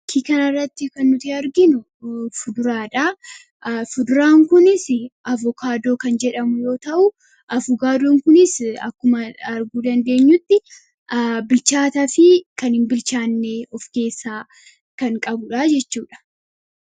Fakki kanirratti kan nuti arginu fuduraadha. Fuduraan kunis avokaadoo kan jedhamu yoo ta'uu avogaadoon kunis akkuma arguu dandeenyutti bilchaataa fi kan hin bilchaanne of keessaa kan qabudha jechuudha.